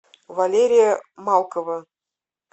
валерия малкова